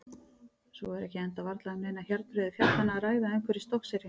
Svo er ekki enda varla um neinar hjarnbreiður fjallanna að ræða umhverfis Stokkseyri.